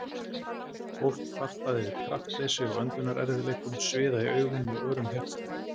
Fólk kvartað yfir kraftleysi og öndunarerfiðleikum, sviða í augum og örum hjartslætti.